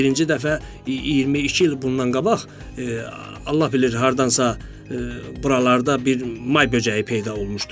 Birinci dəfə 22 il bundan qabaq Allah bilir hardansa buralarda bir may böcəyi peyda olmuşdu.